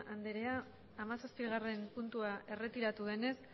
anderea hamazazpigarren puntua erretiratu denez